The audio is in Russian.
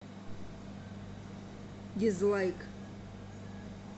дизлайк